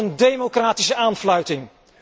Wat een democratische aanfluiting!